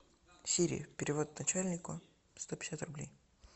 сири перевод начальнику сто пятьдесят рублей